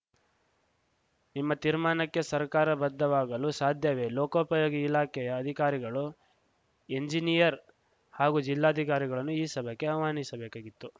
ನಿಮ್ಮ ತೀರ್ಮಾನಕ್ಕೆ ಸರ್ಕಾರ ಬದ್ಧವಾಗಲು ಸಾಧ್ಯವೇ ಲೋಕೋಪಯೋಗಿ ಇಲಾಖೆಯ ಅಧಿಕಾರಿಗಳು ಎಂಜಿನಿಯರ್‌ ಹಾಗೂ ಜಿಲ್ಲಾಧಿಕಾರಿಗಳನ್ನು ಈ ಸಭೆಗೆ ಆಹ್ವಾನಿಸಬೇಕಾಗಿತ್ತು